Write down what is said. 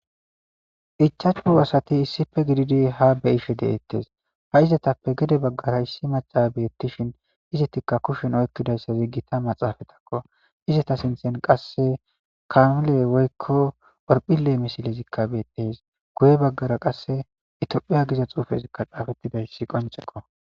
ichachu asati issife gididi ha beyife deettes ha izatappe gede baggara issi maca beettishin izetikka kushen oykkidayssa ziggita maxaafatakko izeta sinthen qasse kanuley woykko orphile misilezikka beettes guye baggara qasse itiophiya giza xuufezikka xaafettidayssi qonceko